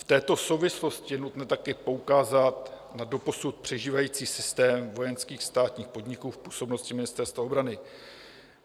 V této souvislosti je nutno také poukázat na doposud přežívající systém vojenských státních podniků v působnosti Ministerstva obrany.